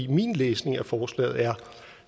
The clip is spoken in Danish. min læsning af forslaget er